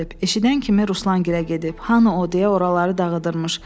Eşidən kimi Ruslan gilə deyib: Hanı o deyə oraları dağıdırmış.